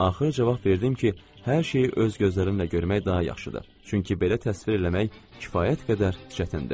Axır cavab verdim ki, hər şeyi öz gözlərinlə görmək daha yaxşıdır, çünki belə təsvir eləmək kifayət qədər çətindir.